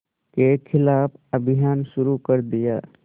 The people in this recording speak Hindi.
के ख़िलाफ़ अभियान शुरू कर दिया